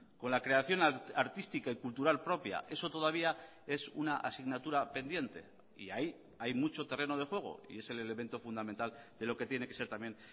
con la creación artística y cultural propia eso todavía es una asignatura pendiente y ahí hay mucho terreno de juego y es el elemento fundamental de lo que tiene que ser también